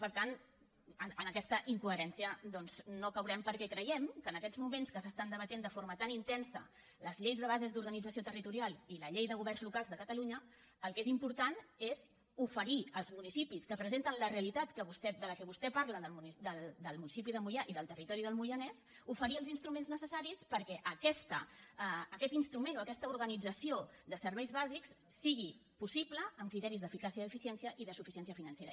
per tant en aquesta incoherència no caurem perquè creiem que en aquest moments en què s’estan debatent de forma tan intensa les lleis de base d’organització territorial i la llei de governs locals de catalunya el que és important és oferir als municipis que presenten la realitat de la que vostè parla del municipi de moià i del territori del moianès oferir els instruments necessaris perquè aquest instrument o aquesta organització de serveis bàsics sigui possible amb criteris d’eficàcia i eficiència i de suficiència financera